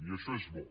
i això és bo